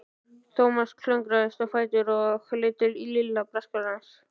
Thomas klöngraðist á fætur og leit til Lilla og Braskarans.